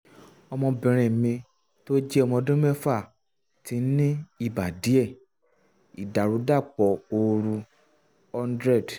ọmọbìnrin mi tó jẹ́ ọmọ ọdún mẹ́fà ti ní ibà díẹ̀ (ìdàrúdàpọ̀ ooru - 100